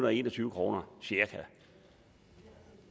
og en og tyve kroner